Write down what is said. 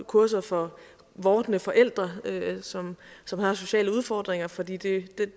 kurser for vordende forældre som som havde sociale udfordringer for det det